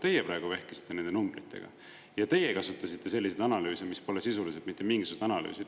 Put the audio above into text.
Teie praegu vehkisite nende numbritega ja teie kasutasite selliseid analüüse, mis pole sisuliselt mitte mingisugused analüüsid.